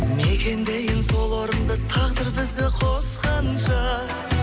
мекендейін сол орынды тағдыр бізді қосқанша